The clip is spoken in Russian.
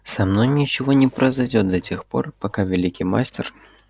со мной ничего не произойдёт до тех пор пока великий мастер